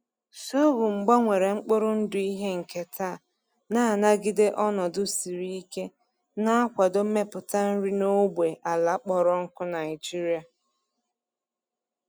Sorghum gbanwere mkpụrụ ndụ ihe nketa na-anagide ọnọdụ siri ike, na-akwado mmepụta nri n’ógbè ala kpọrọ nkụ Naijiria.